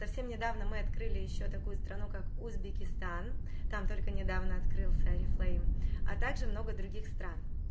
совсем недавно мы открыли ещё такую страну как узбекистан там только недавно открылся а также много других стран